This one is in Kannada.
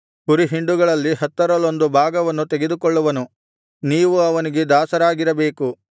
ಕುರಿಹಿಂಡುಗಳಲ್ಲಿ ಹತ್ತರಲ್ಲೊಂದು ಭಾಗವನ್ನು ತೆಗೆದುಕೊಳ್ಳುವನು ನೀವು ಅವನಿಗೆ ದಾಸರಾಗಿರಬೇಕು